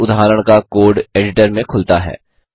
चयनित उदाहरण का कोड एडिटर में खुलता है